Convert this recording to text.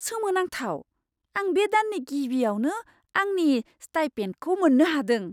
सोमोनांथाव! आं बे दाननि गिबियावनो आंनि स्टाइपेन्दखौ मोननो हादों।